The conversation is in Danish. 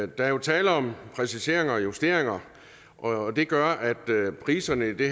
der er jo tale om præciseringer og justeringer og det gør at priserne i det